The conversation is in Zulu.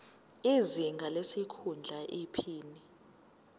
izinga lesikhundla iphini